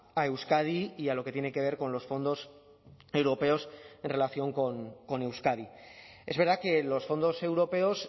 a euskadi y a lo que tiene que ver con los fondos europeos en relación con euskadi es verdad que los fondos europeos